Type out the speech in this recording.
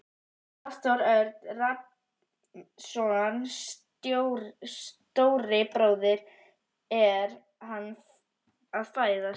Hafþór Örn Rafnsson, stóri bróðir: Er hann að fæðast?